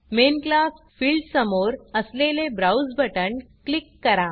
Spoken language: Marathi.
main class main class field समोर असलेले Browseब्राउज़ बटण क्लिक करा